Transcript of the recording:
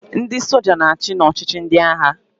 Ndị soja na-achị n'ọchịchị ndị agha.